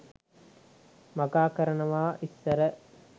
වගා කරනවා ඉස්සර.